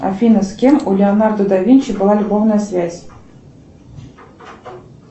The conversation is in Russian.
афина с кем у леонардо да винчи была любовная связь